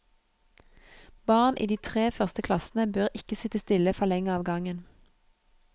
Barn i de tre første klassene bør ikke sitte stille for lenge av gangen.